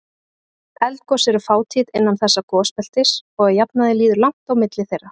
Eldgos eru fátíð innan þessa gosbeltis og að jafnaði líður langt á milli þeirra.